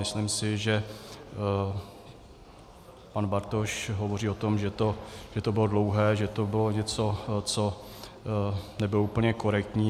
Myslím si, že pan Bartoš hovoří o tom, že to bylo dlouhé, že to bylo něco, co, nebylo úplně korektní.